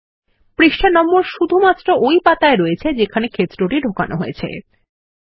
পৃষ্ঠা নম্বর শুধুমাত্র ওই পাতায় রয়েছে যেখানে ক্ষেত্রটি ঢোকানো হয়েছে160